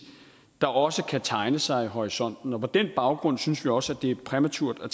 der også kan tegne sig i horisonten på den baggrund synes vi også at det er præmaturt at